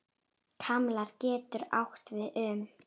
Kalmar getur átt við um